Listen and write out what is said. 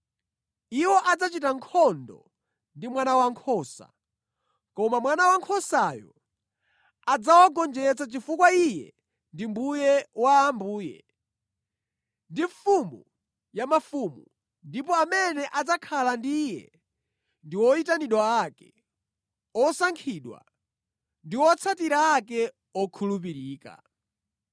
Iwo adzachita nkhondo ndi Mwana Wankhosa, koma Mwana Wankhosayo adzawagonjetsa chifukwa Iye ndi Mbuye wa ambuye ndi Mfumu ya mafumu, ndipo amene adzakhala ndi Iye ndi oyitanidwa ake, osankhidwa ndi otsatira ake okhulupirika.”